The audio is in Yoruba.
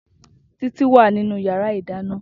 Titi wá ninú iyàrá idàná